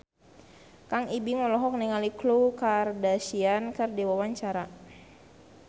Kang Ibing olohok ningali Khloe Kardashian keur diwawancara